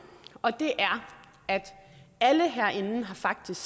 og det er at alle herinde faktisk